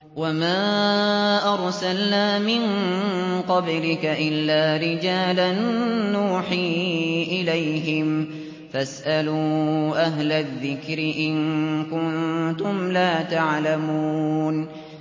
وَمَا أَرْسَلْنَا مِن قَبْلِكَ إِلَّا رِجَالًا نُّوحِي إِلَيْهِمْ ۚ فَاسْأَلُوا أَهْلَ الذِّكْرِ إِن كُنتُمْ لَا تَعْلَمُونَ